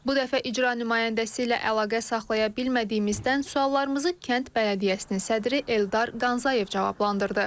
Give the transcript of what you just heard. Bu dəfə icra nümayəndəsi ilə əlaqə saxlaya bilmədiyimizdən suallarımızı kənd bələdiyyəsinin sədri Eldar Qanzayev cavablandırdı.